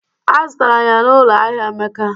Azụtara m ya n'ụlọ ahịa Emeka